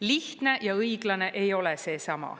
Lihtne ja õiglane ei ole seesama.